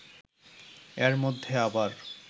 এর মধ্যে আবার